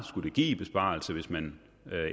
skulle give i besparelse hvis man